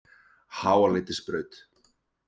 Háaleitisbraut